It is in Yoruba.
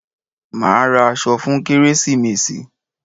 A máa ra aṣọ fún kérésìmesì.